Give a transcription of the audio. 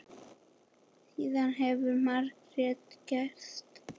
Síðan hefur margt gerst.